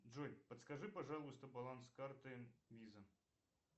джой подскажи пожалуйста баланс карты виза